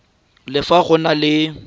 le fa go na le